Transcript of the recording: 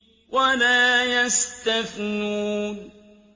وَلَا يَسْتَثْنُونَ